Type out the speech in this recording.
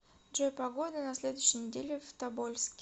джой погода на следующей неделе в тобольске